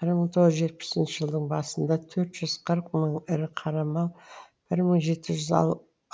бір мың тоғыз жүз жетпісінші жыдың басында төрт жүз қырық мың ірі қара мал бір мың жеті жүз